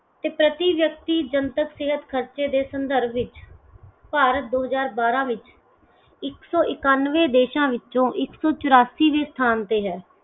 ਤੇ ਪ੍ਰਤੀ ਵਿਅਕਤੀ ਜਨਤਕ ਸਿਹਤ ਖਰਚੇ ਦੇ ਸੰਦਰਭ ਵਿਚ ਭਾਰਤ ਦੋ ਹਜ਼ਾਰ ਬਾਰਾਂ ਵਿਚ ਇੱਕ ਸੌ ਇਕਾਨਵੇਂ ਦੇਸ਼ਾਂ ਵਿੱਚੋ ਇੱਕ ਸੌ ਚੁਰਾਸੀਵੇਂ ਸਥਾਨ ਤੇ ਹੈ।